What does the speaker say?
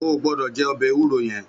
Ó gbòdò jè òbè éwúró yèn